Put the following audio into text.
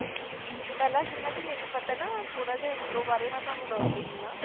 ਪਹਿਲਾਂ ਜਿੰਨ੍ਹਾ ਕੁ ਮੈਨੂੰ ਪਤਾ ਨਾ, ਥੋੜ੍ਹਾ ਜਿਹਾ intro ਬਾਰੇ ਮੈਂ ਤੁਹਾਨੂੰ ਦੱਸ ਦਿੰਦੀ ਹਾਂ,